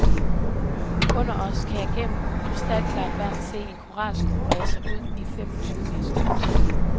Under os kan jeg gennem krystalklart vand se en koralskov brede sig ud i fem og tyve meters dybde.